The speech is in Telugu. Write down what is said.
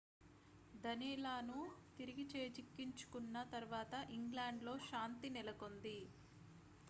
danelawను తిరిగి చేజిక్కించుకున్న తర్వాత ఇంగ్లాండ్‌లో శాంతి నెలకొంది